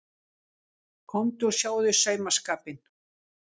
Komdu og sjáðu saumaskapinn.